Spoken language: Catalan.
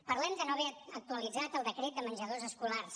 parlem de no haver actualitzat el decret de menjadors escolars